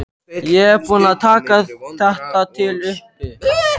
Ég er búin að taka þetta til uppi.